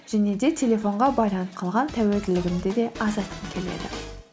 және де телефонға байланып қалған тәуелділігімді де азайтқым келеді